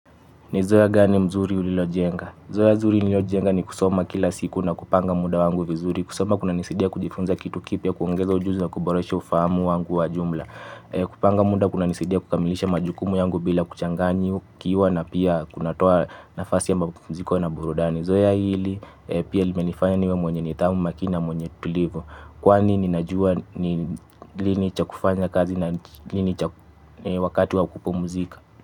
Ni zoeya gani mzuri ulilo jenga? Zoeya zuri nililojenga ni kusoma kila siku na kupanga muda wangu vizuri. Kusoma kuna nisidia kujifunza kitu kipya, kuongeza ujuzi na kuboresha ufahamu wangu wa jumla. Kupanga muda kuna nisidia kukamilisha majukumu yangu bila kuchanganyikiwa na pia kunatoa nafasi yama mapuziko na burudani. Zoeya hili pia limenifanya niwe mwenye nidhamu makini na mwenye tulivu kwani nina juwa ni lini cha kufanya kazi na lini cha wakati wa kupumzika.